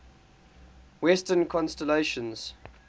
western constellations